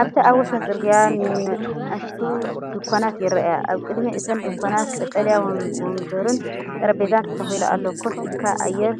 ኣብቲ ኣብ ወሰን ጽርግያ ንኣሽቱ ድኳናት ይረኣያ። ኣብ ቅድሚ እተን ድኳናት ቀጠልያ መንበርን ጠረጴዛን ተተኺሉ ኣሎ፡ ኮፍ ኢልካ ኣየር